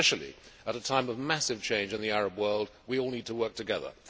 Especially at a time of massive change in the Arab world, we all need to work together.